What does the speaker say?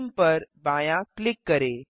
theme पर बायाँ click करें